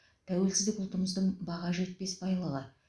тәуелсіздік ұлтымыздың баға жетпес байлығы